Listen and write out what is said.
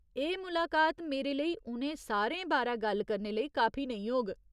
एह् मुलाकात मेरे लेई उ'नें सारें बारै गल्ल करने लेई काफी नेईं होग।